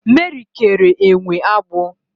Meri kere enwe agbụ